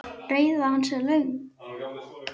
Ræða hans er löng.